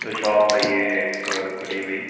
तो शॉप है ये एक खुली हुई।